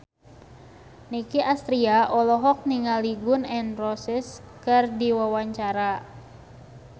Nicky Astria olohok ningali Gun N Roses keur diwawancara